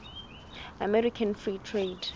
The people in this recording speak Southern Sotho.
american free trade